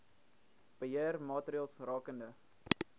beheer maatreëls rakende